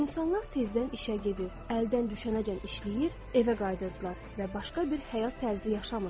İnsanlar tezdən işə gedib, əldən düşənəcən işləyib, evə qayıdırdılar və başqa bir həyat tərzi yaşamırdılar.